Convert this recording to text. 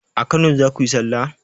A kano zakuyi sallah?